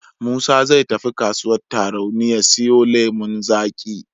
Musa zai tafi kasuwar Tarauni ya siyo lemon zaƙi.